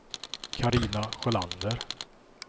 Carina Sjölander